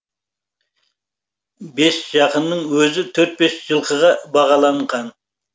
бес жақының өзі төрт бес жылқыға бағаланған